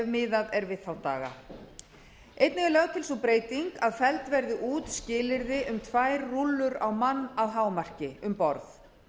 miðað er við þá daga einnig er lögð til sú breyting að felld verði út skilyrði um tvær rúllur á mann að hámarki um borð